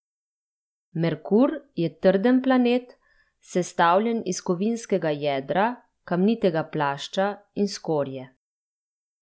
Merkur je trden planet, sestavljen iz kovinskega jedra, kamnitega plašča in skorje.